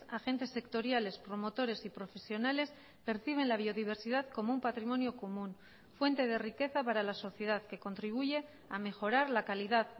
agentes sectoriales promotores y profesionales perciben la biodiversidad como un patrimonio común fuente de riqueza para la sociedad que contribuye a mejorar la calidad